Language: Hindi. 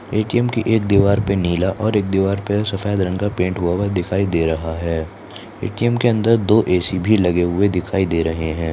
एटीएम की एक दीवार पर नीला और एक दीवार पर सफेद रंग का पेंट हुआ है दिखाई दे रहा है एटीएम के अंदर दो ऐसी भी लगे हुए दिखाई दे रहे हैं।